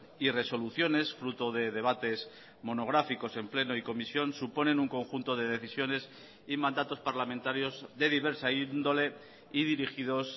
y resoluciones fruto de debates monográficos en pleno y comisión suponen un conjunto de decisiones y mandatos parlamentarios de diversa índole y dirigidos